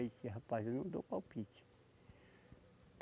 Ele disse, rapaz, eu não dou palpite.